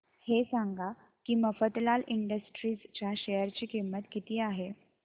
हे सांगा की मफतलाल इंडस्ट्रीज च्या शेअर ची किंमत किती आहे